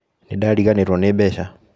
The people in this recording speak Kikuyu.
Nĩndariganĩrwo nĩ mbeca.